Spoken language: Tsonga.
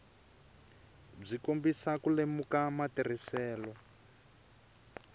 byi kombisa ku lemuka matirhiselo